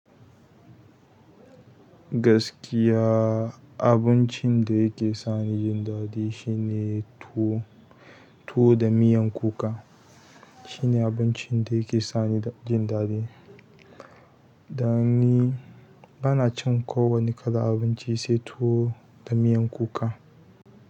Gaskiya abincin da yake sani jin daɗi shine tuwo, tuwo da miyan kuka shine abincin da yake sani jin daɗi. Don ni bana cin ko wani kalan abinci sai tuwo da miyan kuka.